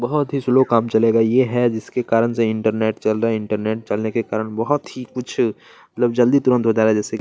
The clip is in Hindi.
बहुत ही स्लो काम चलेगा ये है जिसके कारण से इंटरनेट चल रहा है इंटरनेट चलने के कारण बहुत ही कुछ मतलब जल्दी तुरंत हो जा रहा है जैसे की --